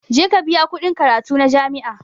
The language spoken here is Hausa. Je ka biya kuɗin karatu na jami'a